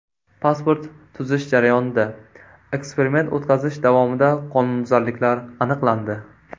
Pasport tuzish jarayonida: Eksperiment o‘tkazish davomida qonunbuzarliklar aniqlandi.